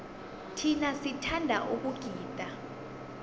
thina sithanda ukugida